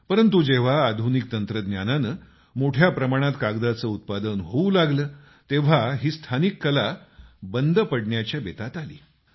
पंरतु जेव्हा आधुनिक तंत्रज्ञानानं मोठ्या प्रमाणात कागदाचं उत्पादन होऊ लागलं तेव्हा ही स्थानिक कला बंद पडण्याच्या बेतात आली